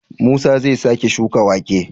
Musa zai sake shuka wake?